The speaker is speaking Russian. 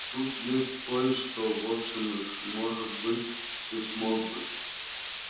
тут есть кое-что в общем может быть ты смог бы